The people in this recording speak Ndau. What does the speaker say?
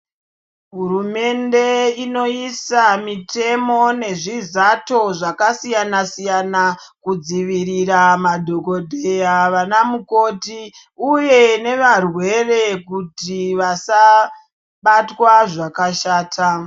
Hurumende inoisa mitemo nezvizato zvakasiyana siyana kudzivirira madhokodheya vanamukoti uye nevarwere kuti vasabatwa zvakashata.